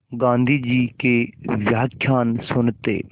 गाँधी जी के व्याख्यान सुनते